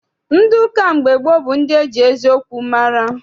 Ndị ụka mgbe gboo bụ ndị eji eziokwu mara.